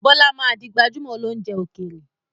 Bọlá máa di gbajumo óloúnjẹ ókéré.